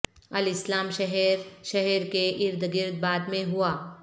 الاسلام شہر شہر کے ارد گرد بعد میں ہوا